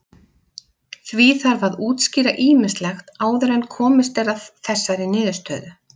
Því þarf að útskýra ýmislegt áður en komist er að þessari niðurstöðu.